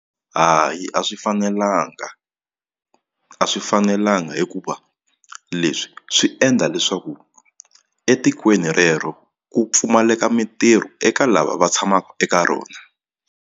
Hayi a swi fanelanga a swi fanelanga hikuva leswi swi endla leswaku etikweni rero ku pfumaleka mitirho eka lava va tshamaka eka rona.